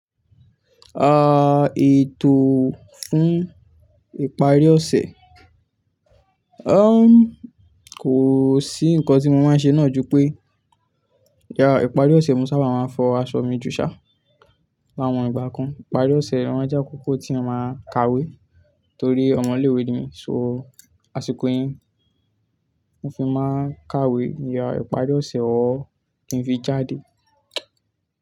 Ètò fún ìparí ọ̀sẹ̀, kò sí nǹkan tí mo máa ń ṣe náà ju pé, ìparí ọ̀sẹ̀ mo sábà máa ń fọ aṣọ mi jù sá láwọn ìgbà kan. Ìparí ọ̀sẹ̀ lo má ń jákòkò tí èyàn máa ń kàwé torí ọmọ ilé-ìwé ni mí. So, àsìkò yìí mo fi máa kàwé, ìparí ọ̀sẹ̀ òr kí ń fi jáde.